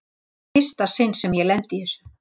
Þetta er í fyrsta sinn sem ég lendi í þessu.